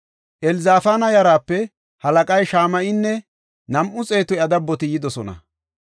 Elzafaana yaraape halaqay Shama7inne nam7u xeetu iya dabboti yidosona.